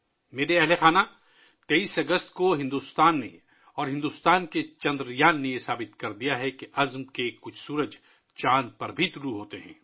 میرے پریوار جَن ، 23 اگست کو بھارت اور بھارت کے چندریان نے ثابت کر دیا ہے کہ عزم کے کچھ سورج چاند پر بھی طلوع ہوتے ہیں